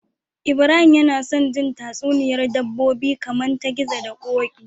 Ibrahim yAna son jin tatsuniyar dabbobi kaman ta gizo da koki